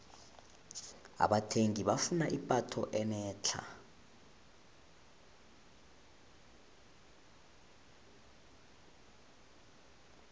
abathengi bafuna ipatho enetlha